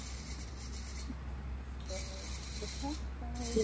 ଦେଖା କଣ ହଉଛି